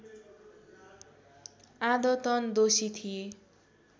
आदतन दोषी थिए